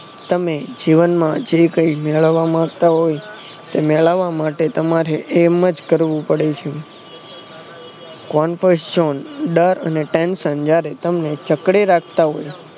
તમે જીવનમાં જે કઈ મેળવવા માંગતા હોય તો મેળવવા માટે તમારે એમજ કરવું પડે છે confrant જોન ડર અને tension જયારે તમને જકડી રાખતા હોય